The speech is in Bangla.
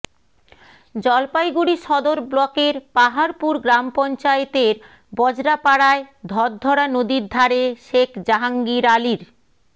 জলপাইগুড়ি সদর ব্লকের পাহাড়পুর গ্রামপঞ্চায়েতের বজরা পাড়ায় ধরধরা নদীর ধারে শেখ জাহাঙ্গির আলির